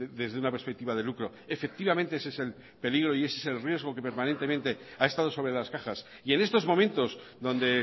desde una perspectiva de lucro efectivamente ese es el peligro y ese el riesgo que permanentemente ha estado sobre las cajas y en estos momentos donde